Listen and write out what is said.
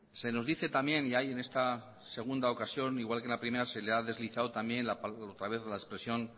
se nos dice también y ahí en esta segunda ocasión igual que en la primera se le ha deslizado también otra vez la expresión